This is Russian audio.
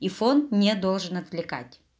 и фон не должен отвлекать